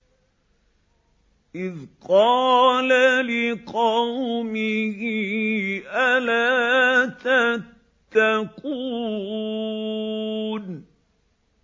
إِذْ قَالَ لِقَوْمِهِ أَلَا تَتَّقُونَ